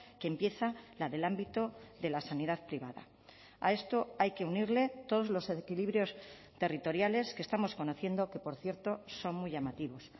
que empieza la del ámbito de la sanidad privada a esto hay que unirle todos los equilibrios territoriales que estamos conociendo que por cierto son muy llamativos